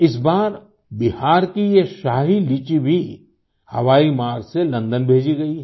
इस बार बिहार की ये शाही लीची भी हवाईमार्ग से लंदन भेजी गई है